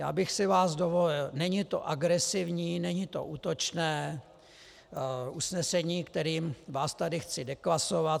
Já bych si vás dovolil, není to agresivní, není to útočné usnesení, kterým vás tady chci deklasovat.